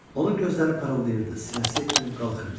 Onun gözləri parıldayırdı, sinəsi enib qalxırdı.